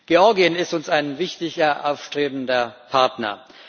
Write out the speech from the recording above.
Georgien ist uns ein wichtiger, aufstrebender Partner.